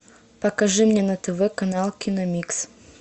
покажи мне на тв канал киномикс